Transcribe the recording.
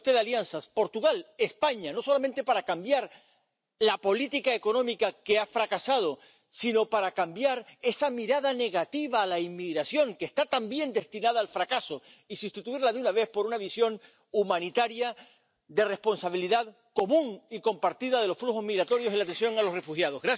Busque usted alianzas —Portugal, España— no solamente para cambiar la política económica que ha fracasado, sino para cambiar esa mirada negativa a la inmigración, que está también destinada al fracaso, y sustituirla de una vez por una visión humanitaria, de responsabilidad común y compartida de los flujos migratorios y la atención a los refugiados.